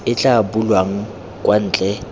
e tla bulwang kwa ntle